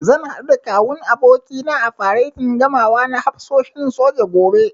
Zan haɗu da Kawun abokina a faretin gamawa na hafsoshin soja, gobe.